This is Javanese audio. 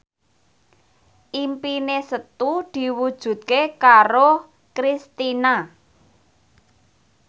impine Setu diwujudke karo Kristina